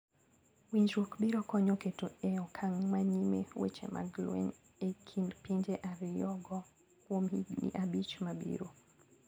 Winjrwok biro konyo keto e okang manyime weche mag lweny e kind pinje ario go kuom higni abich mabiro.